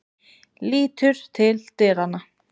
Lítur til dyranna.